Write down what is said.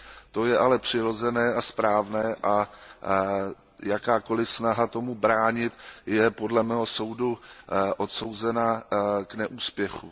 To je ale přirozené a správné a jakákoliv snaha tomu bránit je, podle mého soudu, odsouzena k neúspěchu.